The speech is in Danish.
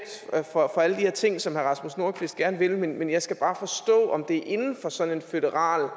for alle de ting som herre rasmus nordqvist gerne vil men jeg skal bare forstå om det er inden for sådan en føderal